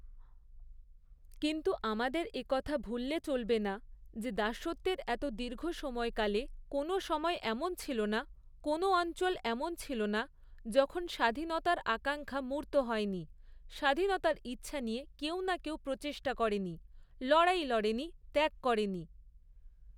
কিন্তু আমাদের একথা ভুললে চলবে না, যে দাসত্বের এত দীর্ঘ সময়কালে কোনও সময় এমন ছিল না, কোনও অ়ঞ্চল এমন ছিল না, যখন স্বাধীনতার আকাঙ্ক্ষা মূর্ত হয়নি, স্বাধীনতার ইচ্ছা নিয়ে কেউ না কেউ প্রচেষ্টা করেনি, লড়াই লড়েনি, ত্যাগ করেনি।